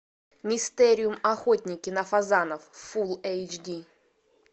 мистериум охотники на фазанов фул эйч ди